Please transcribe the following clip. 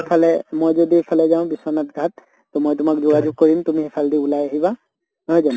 এফালে মই যদি এফালে যাওঁ বিশ্বনাথ ঘাট তʼ মই তোমাক যোগাযোগ কৰিম, তুমি এফালেদি ওলাই আহিবা নহয়